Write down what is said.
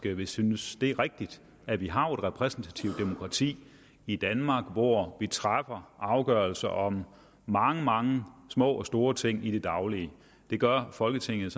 vil synes det er rigtigt at vi har et repræsentativt demokrati i danmark hvor vi træffer afgørelser om mange mange små og store ting i det daglige det gør folketinget